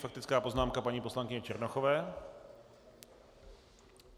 Faktická poznámka paní poslankyně Černochové.